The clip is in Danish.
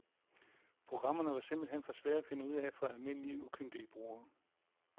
Programmerne var simpelt hen for svære at finde ud af for almindelige, ukyndige brugere.